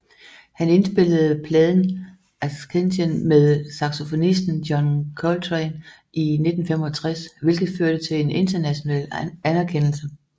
Han indspillede pladen Ascension med saxofonisten John Coltrane i 1965 hvilket førte til en international anerkendelse